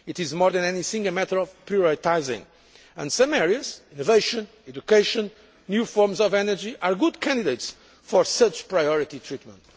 It is more than anything a matter of prioritising and some areas innovation, education, new forms of energy are good candidates for such priority treatment.